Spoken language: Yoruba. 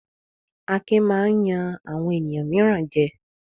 Akin máa ń yan àwọn ènìyàn mìíràn jẹ.